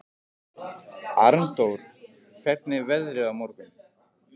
Arndór, hvernig er veðrið á morgun?